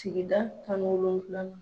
Sigida kan wolonwulanan.